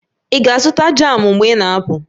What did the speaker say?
Ị ga-azụta jamụ mgbe ị na-apụ?